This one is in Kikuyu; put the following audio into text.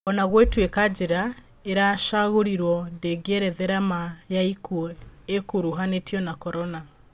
Ona gũtwika njĩra iracagũrirwo ndĩngĩerethera ma ya ikuũ ikuruhanĩtio na Korona